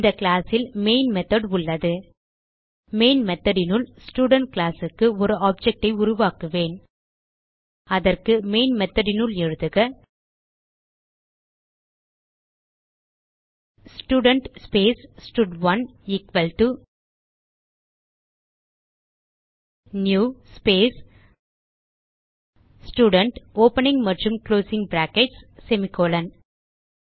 இந்த கிளாஸ் இல் main method உள்ளது மெயின் மெத்தோட் னுள் ஸ்டூடென்ட் classக்கு ஒரு ஆப்ஜெக்ட் ஐ உருவாக்குவேன் அதற்கு மெயின் methodனுள் எழுதுக ஸ்டூடென்ட் ஸ்பேஸ் ஸ்டட்1 equal to new space student opening மற்றும் குளோசிங் பிராக்கெட்ஸ் செமிகோலன்